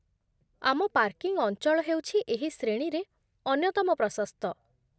ଆମ ପାର୍କିଂ ଅଞ୍ଚଳ ହେଉଛି ଏହି ଶ୍ରେଣୀରେ ଅନ୍ୟତମ ପ୍ରଶସ୍ତ